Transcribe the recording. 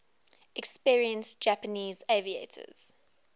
experienced japanese aviators